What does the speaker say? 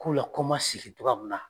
Kɔw la kɔma segi togoya min na